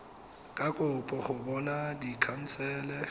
ka kopa go bopa dikhansele